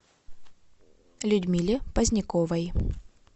людмиле поздняковой